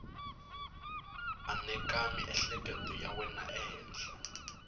aneka miehleketo ya wena ehenhla